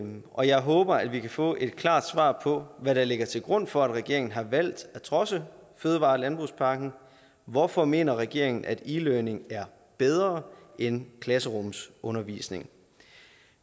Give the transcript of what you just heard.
og jeg håber at vi kan få et klart svar på hvad der ligger til grund for at regeringen har valgt at trodse fødevare og landbrugspakken hvorfor mener regeringen at e learning er bedre end klasserumsundervisning